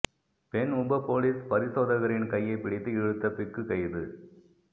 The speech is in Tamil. பெண் உப பொலிஸ் பரிசோதகரின் கையை பிடித்து இழுத்த பிக்கு கைது